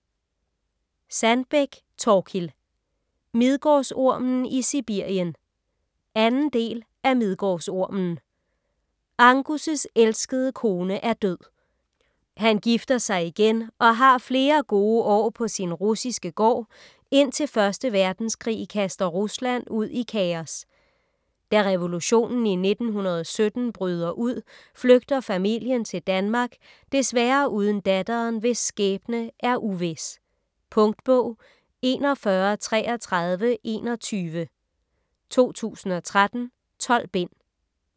Sandbeck, Thorkild: Midgårdsormen i Sibirien 2. del af Midgårdsormen. Angus' elskede kone er død. Han gifter sig igen og har flere gode år på sin russiske gård, indtil 1. verdenskrig kaster Rusland ud i kaos. Da revolution i 1917 bryder ud flygter familien til Danmark, desværre uden datteren hvis skæbne er uvis. Punktbog 413321 2013. 12 bind.